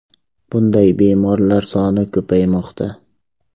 Bunday bemorlar soni ko‘paymoqda.